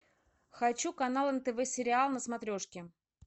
хочу канал нтв сериал на смотрешке